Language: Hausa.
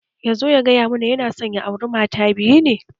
Ya zo ya gaya mana yana son ya auri mata biyu ne